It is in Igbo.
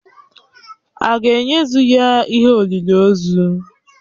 Aga ēnyezu ya ihe olịlị ozu?